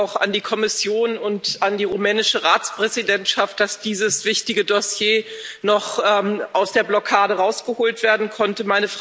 Vielen Dank auch an die Kommission und an die rumänische Ratspräsidentschaft, dass dieses wichtige Dossier noch aus der Blockade herausgeholt werden konnte.